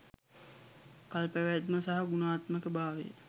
කල්පැවැත්ම සහ ගුණාත්මකභාවය